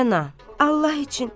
Rəna, Allah üçün!